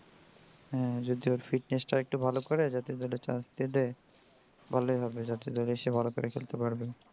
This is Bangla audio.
হ্যাঁ যদি ও fitness টা আরেকটু ভালো করে জাতীয় দলে chance পেয়ে যায় ভালোই হবে জাতীয় দলে এসে ভালো করে খেলতে পারবে.